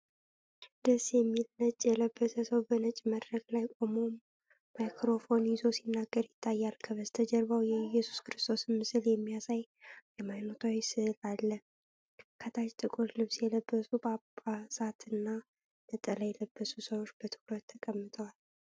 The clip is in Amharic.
ደስ የሚል! ነጭ የለበሰ ሰው በነጭ መድረክ ላይ ቆሞ ማይክሮፎን ይዞ ሲናገር ይታያል። ከበስተጀርባው የኢየሱስ ክርስቶስን ምስል የሚያሳይ ሃይማኖታዊ ሥዕል አለ። ከታች ጥቁር ልብስ የለበሱ ጳጳሳት እና ነጠላ የለበሱ ሰዎች በትኩረት ተቀምጠዋል።